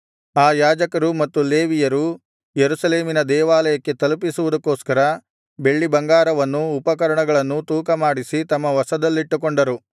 ಆ ಯಾಜಕರೂ ಮತ್ತು ಲೇವಿಯರೂ ಯೆರೂಸಲೇಮಿನ ದೇವಾಲಯಕ್ಕೆ ತಲುಪಿಸುವುದಕ್ಕೋಸ್ಕರ ಬೆಳ್ಳಿಬಂಗಾರವನ್ನೂ ಉಪಕರಣಗಳನ್ನೂ ತೂಕಮಾಡಿಸಿ ತಮ್ಮ ವಶದಲ್ಲಿಟ್ಟುಕೊಂಡರು